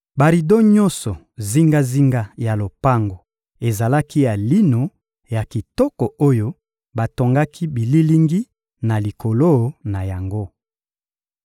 Barido nyonso zingazinga ya lopango ezalaki ya lino ya kitoko oyo batongaki bililingi na likolo na yango.